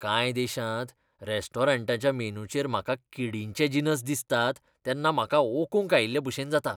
कांय देशांत रेस्टॉरंटांच्या मेनूचेर म्हाका किडींचे जिनस दिसतात तेन्ना म्हाका ओकूंक आयिल्लेभशेन जाता.